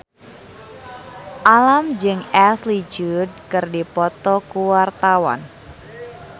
Alam jeung Ashley Judd keur dipoto ku wartawan